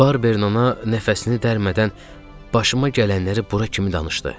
Barberin ana nəfəsini dərmədən başıma gələnləri bura kimi danışdı.